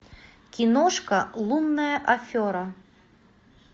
киношка лунная афера